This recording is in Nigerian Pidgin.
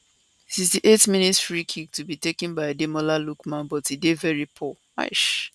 68mins free kick to be taken by ademola lookman but e dey veri poor